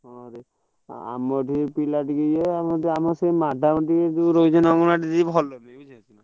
ହଁରେ ଆମର ତ ପିଲା ଟିକେ ୟେ, ନହେଲେ ଆମେ ସେ madam ।